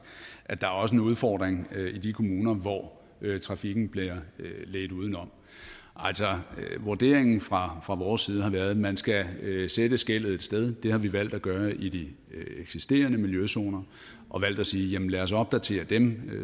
at der også er en udfordring i de kommuner hvor trafikken bliver ledt uden om vurderingen fra fra vores side har været at man skal sætte skellet et sted og det har vi valgt at gøre i de eksisterende miljøzoner og valgt at sige lad os opdatere dem